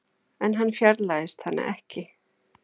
En hann fjarlægist hana ekki.